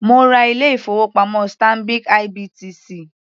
Mo ra ilé ìfowópamọ́ Stanbic IBTC.